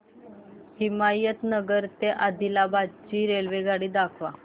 हिमायतनगर ते आदिलाबाद ची रेल्वेगाडी दाखवा